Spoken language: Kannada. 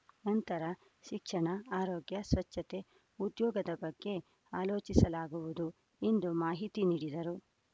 ನಂತರ ಶಿಕ್ಷಣ ಆರೋಗ್ಯ ಸ್ವಚ್ಛತೆ ಉದ್ಯೋಗದ ಬಗ್ಗೆ ಆಲೋಚಿಸಲಾಗುವುದು ಎಂದು ಮಾಹಿತಿ ನೀಡಿದರು